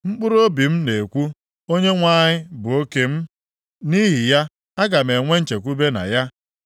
Mkpụrụobi m na-ekwu, “ Onyenwe anyị bụ oke m, nʼihi ya, aga m enwe nchekwube na ya.”